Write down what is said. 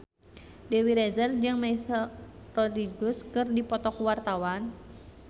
Dewi Rezer jeung Michelle Rodriguez keur dipoto ku wartawan